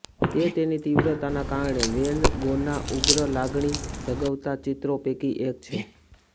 તે તેની તીવ્રતાના કારણે વેન ગોના ઉગ્ર લાગણી જગાવતા ચિત્રો પૈકી એક છે